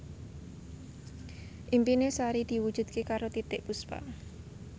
impine Sari diwujudke karo Titiek Puspa